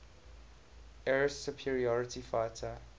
air superiority fighter